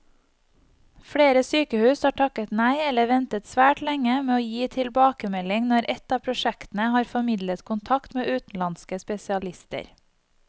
Flere sykehus har takket nei eller ventet svært lenge med å gi tilbakemelding når et av prosjektene har formidlet kontakt med utenlandske spesialister.